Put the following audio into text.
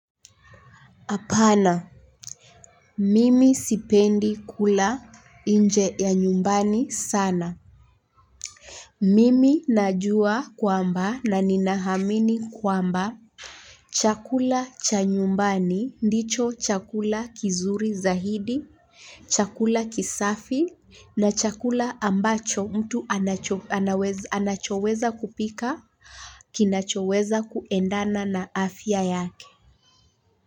Hapana. Mimi sipendi kula nje ya nyumbani sana. Mimi najua kwamba na ninaamini kwamba chakula cha nyumbani ndicho chakula kizuri zaidi chakula kisafi na chakula ambacho mtu anachoweza kupika kinachoweza kuendana na afya yake.